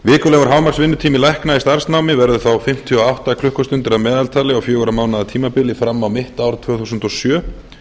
vikulegur hámarksvinnutími lækna í starfsnámi verður þá fimmtíu og átta klukkustundir að meðaltali á fjögurra mánaða tímabili fram á mitt ár tvö þúsund og sjö